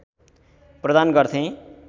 प्रदान गर्थे